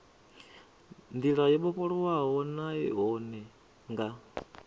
ndila yo vhofholowaho nahone nga